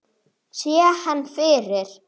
Oddný átti fyrir Aron Leó.